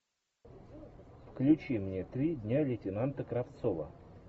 включи мне три дня лейтенанта кравцова